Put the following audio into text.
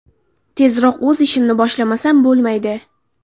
Tezroq o‘z ishimni boshlamasam bo‘lmaydi.